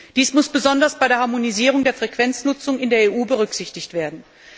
Dies muss besonders bei der Harmonisierung der Frequenznutzung in der EU berücksichtigt werden.